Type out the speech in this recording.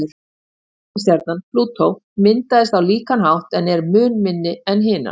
Ysta reikistjarnan, Plútó, myndaðist á líkan hátt en er mun minni en hinar.